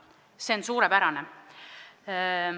See on suurepärane.